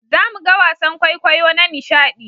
Za mu ga wasan kwaikwayo na nishaɗi